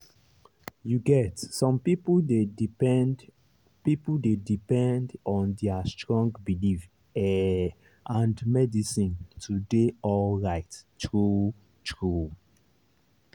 you get some people dey depend people dey depend on their strong belief ehh and medicine to dey alright true-true.